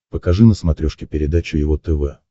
покажи на смотрешке передачу его тв